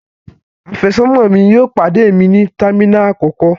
Àfẹ́sọ́nà mi yóò pàdé mi ní terminal àkọ́kọ́.